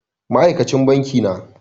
Ma aikacin banki na